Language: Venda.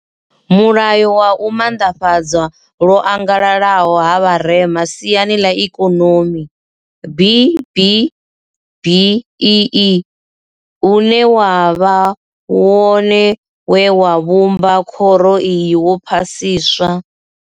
Mulayo wa u maanḓafhadzwa lwo angalalaho ha vharema siani ḽa Ikonomi B BBEE, une wa vha wone we wa vhumba khoro iyi wo phasiswa.